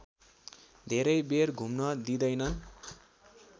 धेरै बेर घुम्न दिँदैन